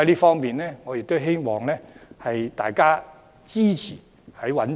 故此，我希望大家支持政府覓地。